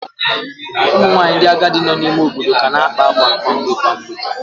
Ụmụ nwanyị ndị agadi nọ n'ime ime obodo ka na-akpa akwa kwa mgbe kwa mgbe